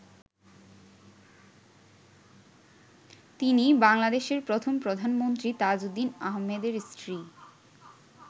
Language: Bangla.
তিনি বাংলাদেশের প্রথম প্রধানমন্ত্রী তাজউদ্দিন আহমেদের স্ত্রী।